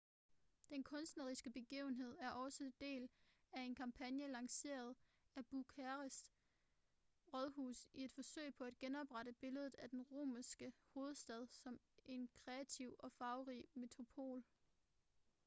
den kunstneriske begivenhed er også del af en kampagne lanceret af bukarest rådhus i et forsøg på at genoprette billedet af den rumænske hovedstad som en kreativ og farverig metropol